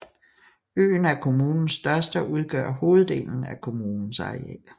Øen er kommunens største og udgør hoveddelen af kommunens areal